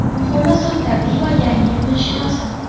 Muhimi sut tabiiy va yangi bo‘lishi lozim.